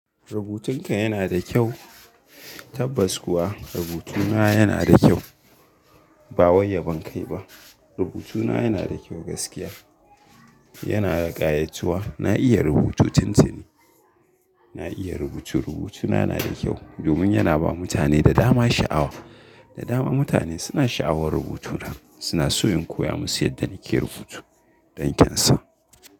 Rubutunka yana da kyau, tabbas kuwa rubutuna yana da kyau. Ba wai yabon kai ba, rubutuna yana da kyau gaskiya. Yana da ƙayatuwa, na iya rubutu tuntuni. Na iya rubutu, rubutuna yana da kyau domin yana ba mutane da dama sha'awa. Da dama mutane suna sha'awar rubutuna, suna so in koya musu yadda nake rubutu don kyan sa.